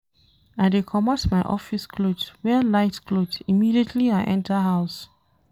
I dey comot my office cloth wear light cloth immediately I enta house.